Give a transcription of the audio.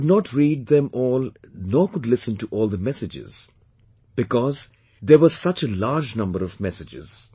I could not read them all nor could listen to all the messages because there were such a large number of messages